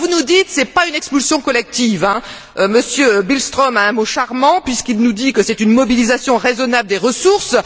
Vous nous dites que ce n'est pas une expulsion collective. M. Billström a un mot charmant, puisqu'il nous dit que c'est une mobilisation raisonnable des ressources.